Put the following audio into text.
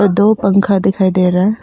दो पंखा दिखाई दे रहा--